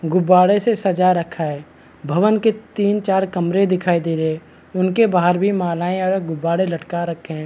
गुब्बारे से सजा रखा है भवन के तीन-चार कमरे दिखाई दे रहे है उनके बाहर भी मालाएं और गुब्बारे लटका रखे हैं ।